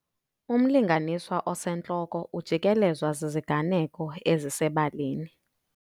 Umlinganiswa osentloko ujikelezwa ziziganeko ezisebalini